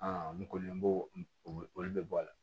n kɔni n b'o o de bɔ a la